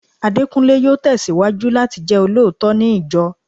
Adekunle yóò tesiwaju láti jẹ olóòótọ́ ní ìjọ